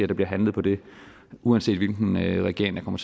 der bliver handlet på det uanset hvilken regering der kommer